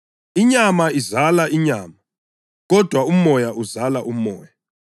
Inyama izala inyama, kodwa uMoya uzala umoya.